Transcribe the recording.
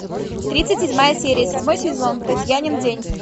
тридцать седьмая серия седьмой сезон татьянин день